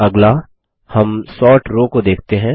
अगला हम sort row को देखते हैं